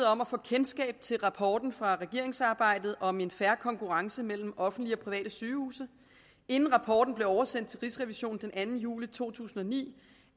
om at få kendskab til rapporten fra regeringsarbejdet om en fair konkurrence mellem offentlige og private sygehuse inden rapporten blev oversendt til rigsrevisionen den anden juli to tusind og ni